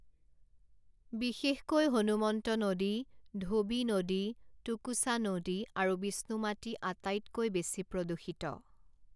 বিশেষকৈ হনুমন্ত নদী, ধোবী নদী, টুকুচা নদী আৰু বিষ্ণুমাটি আটাইতকৈ বেছি প্ৰদূষিত।